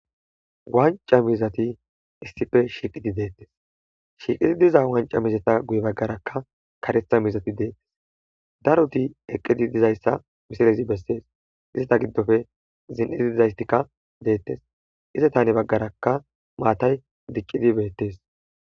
wanca miizati issippe shiiqidi deettees shiiqidi diza wanca miizatta guye baggarakka kareeththa miizati deettees daroti eqqidi dizayssa miisiilezi bessees izata giddoppe zin'idi dizaystikka deettees izatta hani baggarakka mattay dicciidi beettees